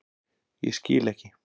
Ég skil ekki.